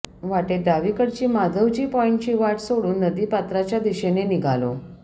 वाटेत डावीकडची माधवजी पॉईंटची वाट सोडून नदी पात्राच्या दिशेने निघालो